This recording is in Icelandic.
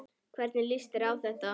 Hvernig líst þér á það?